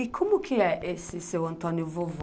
E como que é esse seu Antônio vovô?